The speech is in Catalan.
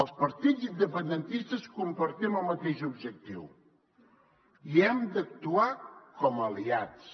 els partits independentistes compartim el mateix objectiu i hem d’actuar com a aliats